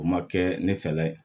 O ma kɛ ne fɛla ye